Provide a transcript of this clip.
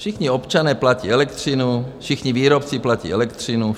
Všichni občané platí elektřinu, všichni výrobci platí elektřinu.